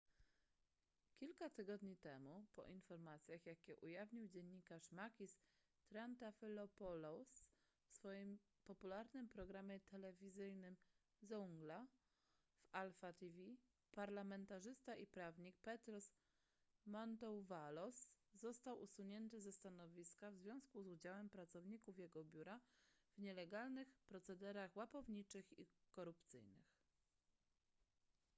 kilka tygodni temu po informacjach jakie ujawnił dziennikarz makis triantafylopoulos w swoim popularnym programie telewizyjnym zoungla w alpha tv parlamentarzysta i prawnik petros mantouvalos został usunięty ze stanowiska w związku z udziałem pracowników jego biura w nielegalnych procederach łapowniczych i korupcyjnych